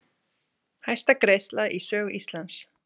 Hæsta greiðsla í sögu Íslands